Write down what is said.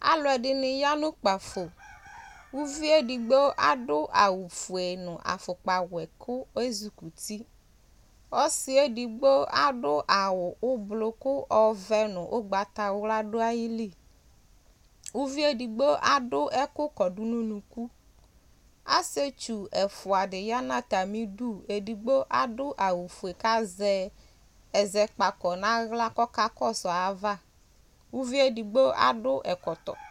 alʋɛdini yanʋ kpaƒo ʋviedigbo adʋ awʋƒʋe nʋ aƒʋkpawɛ kʋ ezʋkʋti ɔsiɛdigbo adʋ awʋ ʋblʋɔ ɔvɛ nʋ ʋgbata wlʋa dʋ ayili ʋviedigbo adʋ ɛkʋ kɔdʋ nʋ ʋnʋkʋ asietsʋ ɛƒʋadi ya nʋ atamidʋ kʋ adʋ awʋƒʋe kazɛ ezɛkpakɔ naɣla kɔka kɔsʋ ayava ʋviedigbo akɔ ɛkɔtɔ